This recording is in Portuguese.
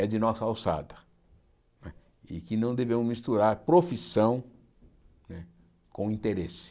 é de nossa alçada não é, e que não devemos misturar profissão né com interesse.